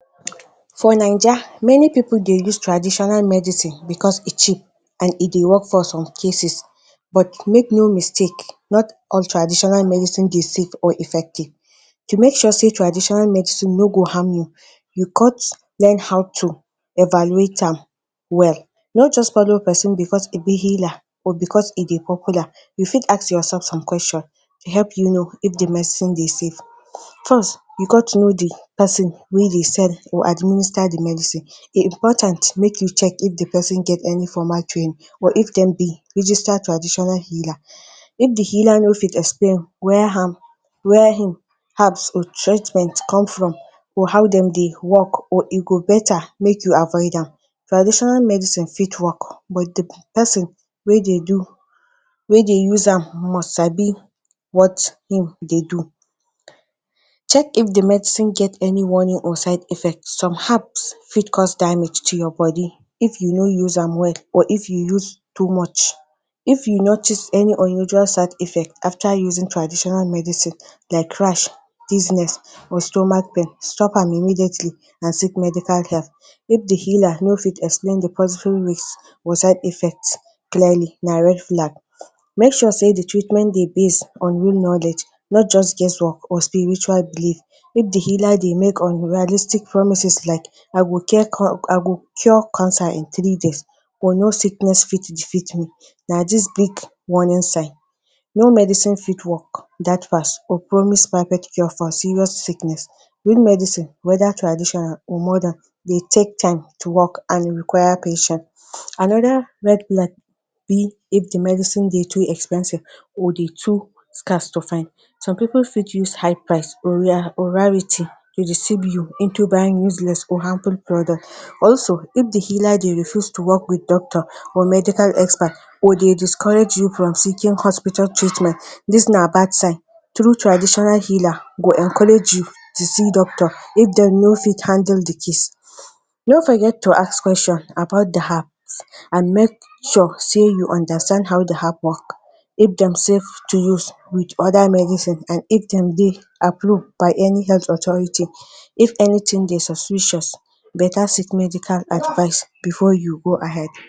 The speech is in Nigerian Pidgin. For Naija, many pipu de use traditional medicine becos e cheap and e de work for some cases, but make no mistake, not all traditional medicine de safe or effective. To make sure sey traditional medicine no go harm you, you got learn how to evaluate am well. Not just follow pesin becos e be healer or becos e de popular. You fit ask yourself some question to help you know if di medicine de safe. First, you got to know di pesin wey de sell or administer di medicine, e important make you check if di pesin get any formal training or if dem be registered traditional healer. If di healer no fit explain where am, where im herbs or treatment come from, or how dem dey work, or e go better make you avoid am. Traditional medicine fit work but di pesin wey de do, wey de use am must sabi what im de do. Check if di medicine get any warning or side effects – some herbs fit cause damage to your bodi if you no use am well or if you use too much. If you notice any unusual side effect after using traditional medicine like rash, dizziness, or stomach pain, stop am immediately and seek medical help. If the healer no fit explain di possible risk or side effect clearly, na red flag. Make sure sey di treatment de based on real knowledge, not just guesswork or spiritual belief. If di healer de make unrealistic promises like: ‘’I go care con-, I go cure cancer in three days’’ or ‘’No sickness fit defeat me’’, na dis big warning sign. No medicine fit work dat fast or promise perfect cure for serious sickness. Real medicine, whether traditional or modern dey take time to work and e require patience. Another red flag be if di medicine de too expensive or de too scarce to find. Some pipu fit use high price or rare, or rarity deceive you into buying useless or harmful product. Also if di healer de refuse to work with doctor or medical expert, or de discourage you from seeking hospital treatment, dis na bad sign. True traditional healer go encourage you to see doctor if dem no fit handle di case. No forget to ask question about di herbs and make sure sey you understand how di herb work; if dem safe to use wit other medicine and if dem de approved by any health authority. If anything de suspicious, beta seek medical advice before you go ahead.